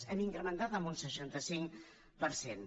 hem incrementat en un seixanta cinc per cent